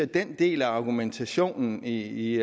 den del af argumentationen i